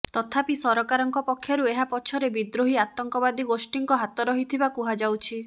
ତଥାପି ସରକାରଙ୍କ ପକ୍ଷରୁ ଏହା ପଛରେ ବିଦ୍ରୋହୀ ଆତଙ୍କବାଦୀ ଗୋଷ୍ଠୀଙ୍କ ହାତ ରହିଥିବା କୁହାଯାଉଛି